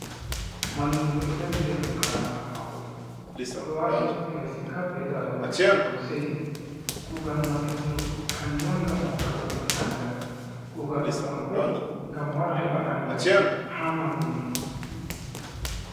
Mallumjo ɗo dari be fukarabe mako odo wati fesinkap be darugal, oɗo seyi. Kugal mallumjo kanjum on ngam hokka bukkon andal, kugal bukkon bo ngam wara heba andal ha mallumjo.